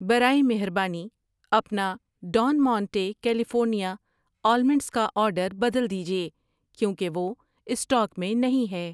برائے مہربانی اپنا ڈان مونٹے کیلیفورنیا آلمنڈز کا آرڈر بدل دیجیے کیوں کہ وہ اسٹاک میں نہیں ہے۔